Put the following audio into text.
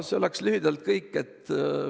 See oleks lühidalt kõik.